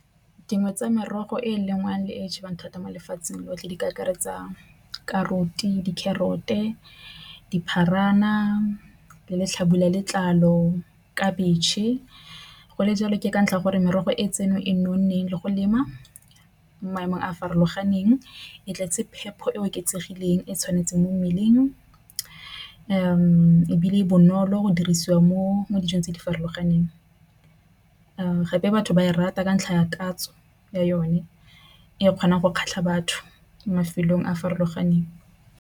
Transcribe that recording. Dingwe tsa merogo e lengwang le e jewang thata mo lefatsheng lotlhe di ka akaretsa di-carrot-e, dipharana di le letlhabula ya letlalo, khabetšhe. Go le jalo ke ka ntlha ya gore merogo e tseno e nonneng le go lema maemo a a farologaneng e tletse phepho e oketsegileng e tshwanetseng mo mmeleng ebile e bonolo go dirisiwa mo dijong tse di farologaneng. Gape batho ba e rata ka ntlha ya tatso yone e kgonang go kgatlha batho mafelong a farologaneng.